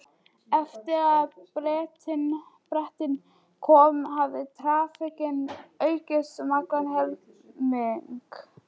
Eftir að Bretinn kom hafði traffíkin aukist um allan helming.